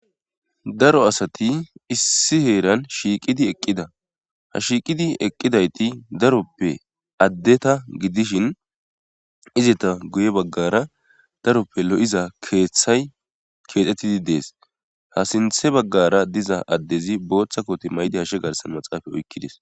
daro asati issi heeran shiiqidi eqqida ha shiiqidi eqqidayti daroppe addeta gidishin izeta guye baggara daroppe lo7iza keeththay keexxettidi dees ha sinthe baggara diza addezi booththa kote maydi hashe garsan maxaafa oykkidis